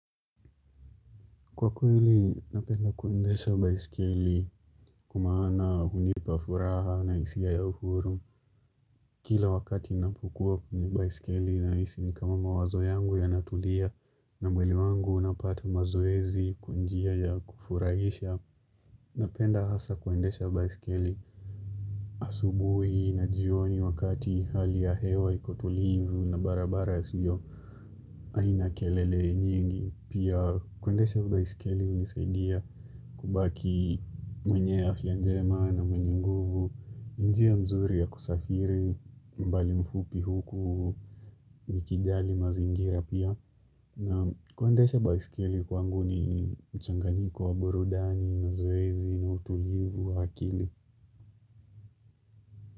Kwa kweli, napenda kuendesha baiskeli kwa maana hunipa furaha na hisia ya ym uhuru. Kila wakati ninapokua baisikeli nahisi ni kama mawazo yangu yanatulia na mwili wangu unapata mazoezi kwa njia ya kufurahisha. Napenda hasa kuendesha baisikeli asubui na jioni wakati hali ya hewa iko tulivu na barabara siyo. Haina kelele nyingi pia kuendesha baisikeli hunisaidia kubaki mwenye afya njema na mwenye nguvu njia mzuri ya kusafiri mbali mfupi huku nikijali mazingira pia na kuendesha baisikeli kwangu ni mchanganyiko wa burudani mazoezi na utulivu wa akili.